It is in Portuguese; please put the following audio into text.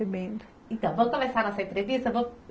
Então, vamos começar nossa entrevista?